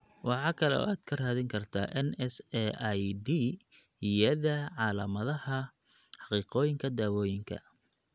Waxa kale oo aad ka raadin kartaa NSAID-yada calaamadaha Xaqiiqooyinka Dawooyinka.